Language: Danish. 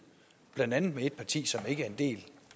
blandt andet med et parti som ikke er en del